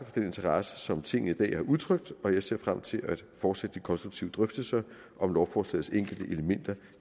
den interesse som tinget i dag har udtrykt og jeg ser frem til at fortsætte de konstruktive drøftelser om lovforslagets enkelte elementer